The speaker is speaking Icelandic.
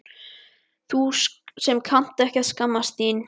Þú sem kannt ekki að skammast þín.